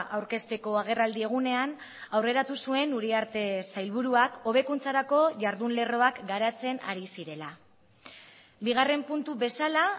aurkezteko agerraldi egunean aurreratu zuen uriarte sailburuak hobekuntzarako jardun lerroak garatzen ari zirela bigarren puntu bezala